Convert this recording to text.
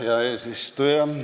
Hea eesistuja!